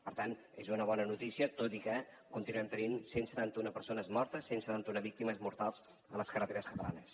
per tant és una bona notícia tot i que continuem tenint cent i setanta un persones mortes cent i setanta un víctimes mortals a les carreteres catalanes